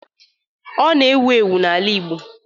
Ọ na-ewu ewu n'ala igbo.